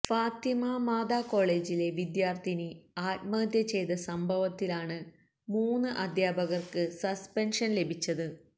ഫാത്തിമ മാതാ കോളേജിലെ വിദ്യാര്ത്ഥിനി ആത്മഹത്യ ചെയ്ത സംഭവത്തിലാണ് മൂന്ന് അധ്യാപകര്ക്ക് സസ്പെന്ഷന് ലഭിച്ചത്